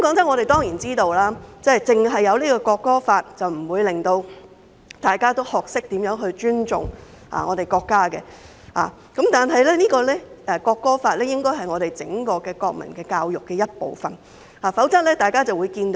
我們當然知道，訂立《條例草案》不能令大家學懂尊重國家，但《條例草案》應該是整個國民教育的一部分，否則教育就會淪陷。